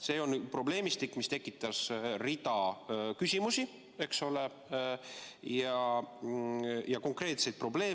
See on probleemistik, mis tekitas hulga küsimusi, eks ole, samuti konkreetseid probleeme.